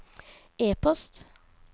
e-post